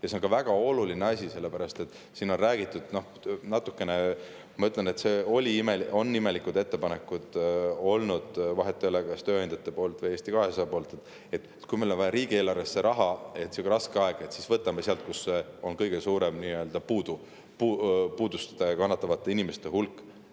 See on väga oluline asi, sellepärast et siin on räägitud – ma ütlen, et on natuke imelikud ettepanekud olnud, vahet ei ole, kas tööandjate poolt või Eesti 200 poolt –, et kui meil on vaja riigieelarvesse raha raskel ajal, siis võtame sealt, kus on puudust kannatavate inimeste hulk kõige suurem.